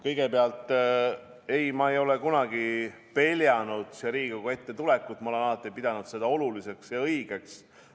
Kõigepealt, ei, ma ei ole kunagi peljanud siia Riigikogu ette tulekut, ma olen alati pidanud seda oluliseks ja õigeks.